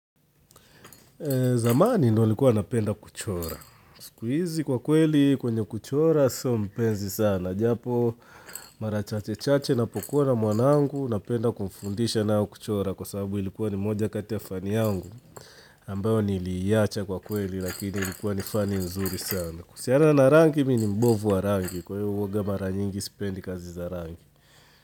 Zamani ndo likuwa napenda kuchora Skuizi kwa kweli kwenye kuchora so mpenzi sana Japo marachache chache napokuwa na mwanangu napenda kumfundisha na kuchora Kwa sababu ilikuwa ni moja kati fani yangu ambayo niliyacha kwa kweli lakini ilikuwa nifani nzuri sana Kusiana na rangi mini mbovu wa rangi kwa hivyo huaga mara nyingi sipendi kazi za rangi.